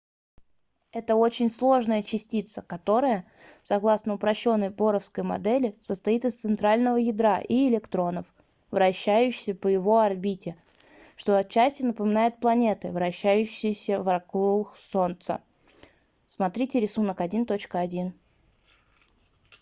это очень сложная частица которая согласно упрощенной боровской модели состоит из центрального ядра и электронов вращающихся по его орбите что отчасти напоминает планеты вращающиеся вокруг солнца см рисунок 1.1